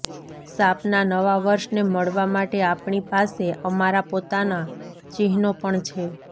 સાપના નવા વર્ષને મળવા માટે આપણી પાસે અમારા પોતાના ચિહ્નો પણ છે